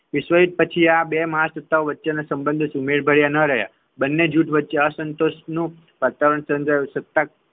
વિશ્વ યુદ્ધ પછી આ બે મહાસત્તાઓવચ્ચેના સંબંધો સુમેળભર્યા ન રહ્યા બંને જૂથો વચ્ચે અસંતોષનું વાતાવરણ સર્જાયું સત્તા